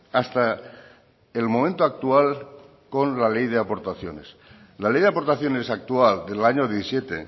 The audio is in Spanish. hasta el momento actual con la ley de aportaciones la ley de aportaciones actual del año diecisiete